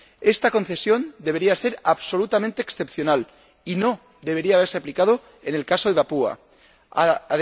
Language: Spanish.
Esta concesión debería ser absolutamente excepcional, y no debería haberse aplicado en el caso de Papúa Nueva Guinea.